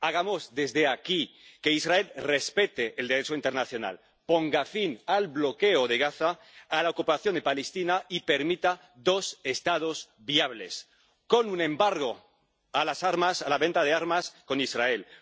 Hagamos desde aquí que Israel respete el Derecho internacional, ponga fin al bloqueo de Gaza, a la ocupación de Palestina y permita dos Estados viables, con un embargo de las armas, de la venta de armas a Israel